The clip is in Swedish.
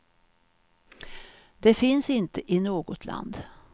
Det finns inte i något land.